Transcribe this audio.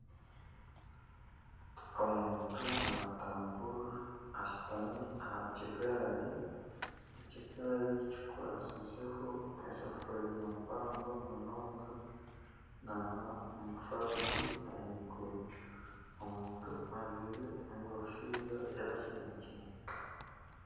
Omuntu natamburira aha kigaari ,ekigaari kikwatsizeho eseforiya mpango munonga nana omufarasi ahaiguru omuntu ajwaire enkofiira ya kinekye